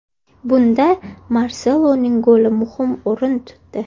Bunda Marseloning goli muhim o‘rin tutdi.